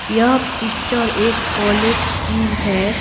यह पिक्चर एक कॉलेज की है।